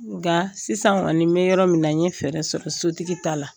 Nka sisan kɔni n me yɔrɔ min na, n ye fɛɛrɛ sɔrɔ sotigi ta la.